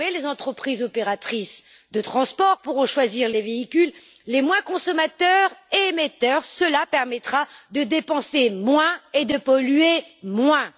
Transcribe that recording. Désormais, les entreprises opératrices de transport pourront choisir les véhicules les moins consommateurs et émetteurs cela permettra de dépenser moins et de polluer moins.